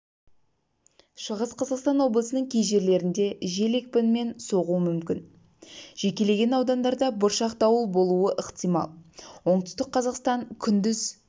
шығыс-қазақстан облысының кей жерлерінде жел екпінімен соғуы мүмкін жекелеген аудандарда бұршақ дауыл болуы ықтимал оңтүстік-қазақстан күндіз